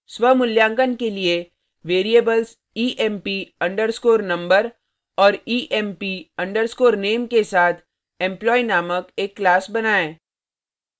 स्वमूल्यांकन के लिए variables emp underscore number और emp underscore name के साथ employee named एक class